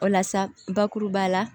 O la sa bakuruba la